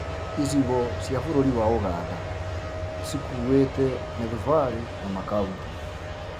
Icigo cīa bũrũri wa Ũganda cikũĩte mĩthubarĩ na makaũntĩ